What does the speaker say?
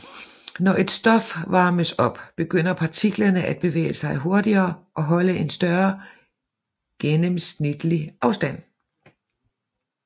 Når et stof varmes op begynder partiklerne at bevæge sig hurtigere og holde en større gennemsnitlig afstand